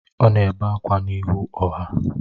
Ọ na-ebe akwa n’ihu ọha